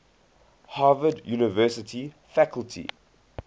harvard university faculty